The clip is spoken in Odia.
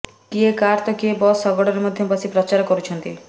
କିଏ କାର୍ ତ କିଏ ବସ୍ ଶଗଡ଼ରେ ମଧ୍ୟ ବସି ପ୍ରଚାର କରୁଛନ୍ତି